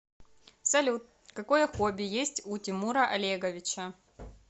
салют какое хобби есть у тимура олеговича